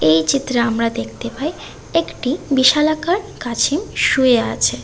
এই চিত্রে আমরা দেখতে পাই একটি বিশালাকার কাছিম শুয়ে আছে।